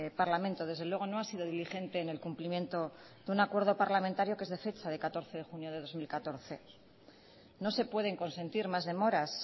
parlamento desde luego no ha sido diligente en el cumplimiento de un acuerdo parlamentario que es de fecha de catorce de junio de dos mil catorce no se pueden consentir más demoras